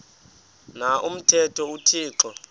na umthetho uthixo